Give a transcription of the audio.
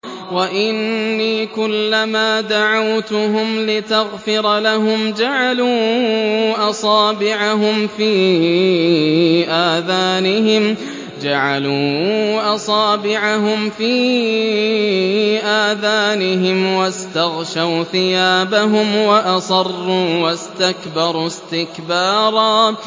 وَإِنِّي كُلَّمَا دَعَوْتُهُمْ لِتَغْفِرَ لَهُمْ جَعَلُوا أَصَابِعَهُمْ فِي آذَانِهِمْ وَاسْتَغْشَوْا ثِيَابَهُمْ وَأَصَرُّوا وَاسْتَكْبَرُوا اسْتِكْبَارًا